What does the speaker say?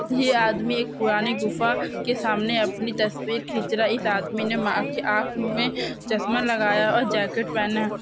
ये आदमी एक पुरानी गुफा के सामने अपनी तस्वीर खीच रहा है | इस आदमी ने आँख में चश्मा लगाया और जैकेट पहना है।